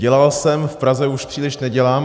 Dělal jsem v Praze, už příliš nedělám.